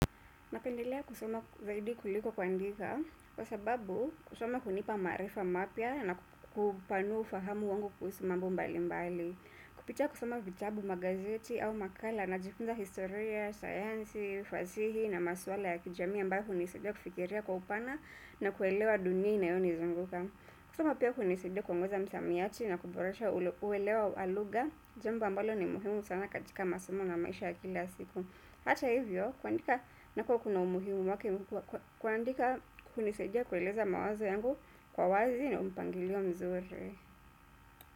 Napendelea kusoma zaidi kuliko kuandika, kwa sababu kusoma hunipa maarifa mapya na kupanua ufahamu wangu kuhusu mambo mbali mbali. Kupitia kusoma vitabu magazeti au makala najifunza historia, sayansi, fasihi na maswala ya kijamii ambayo hunisidia kufikiria kwa upana na kuelewa dunia inayo nizunguka. Kusoma pia kunisaidia kuongeza msamiati na kuboresha uelewa wa lugha, jambo ambalo ni muhimu sana katika masomo na maisha ya kila siku. Hata hivyo, kuandika nako kuna umuhimu wake, kuandika hunisaidia kueleza mawazo yangu kwa wazi na mpangilio mzuri.